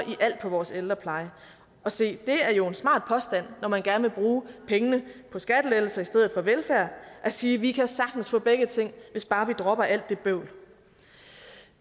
på vores ældrepleje og se det er jo en smart påstand når man gerne vil bruge pengene på skattelettelser i stedet for velfærd at sige vi kan sagtens få begge ting hvis bare vi dropper alt det bøvl